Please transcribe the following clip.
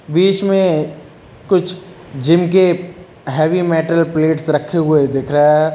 बीच में कुछ जिम के हैवी मेटल प्लेट्स रखे हुए दिख रहा है।